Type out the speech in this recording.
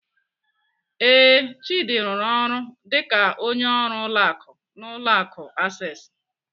Ee, Chidi rụrụ ọrụ dịka onye ọrụ ụlọ akụ n'ụlọ akụ Access.